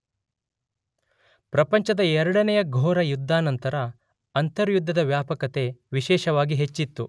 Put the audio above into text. ಪ್ರಪಂಚದ ಎರಡನೆಯ ಘೋರ ಯುದ್ಧಾನಂತರ ಅಂತರ್ಯುದ್ಧದ ವ್ಯಾಪಕತೆ ವಿಶೇಷವಾಗಿ ಹೆಚ್ಚಿತು.